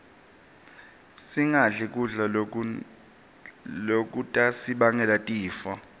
singadli kudla lokutasibangela tifo